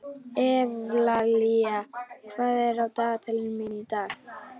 Evlalía, hvað er á dagatalinu mínu í dag?